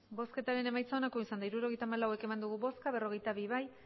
hirurogeita hamalau eman dugu bozka berrogeita bi bai